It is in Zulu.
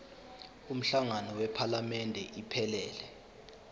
umhlangano wephalamende iphelele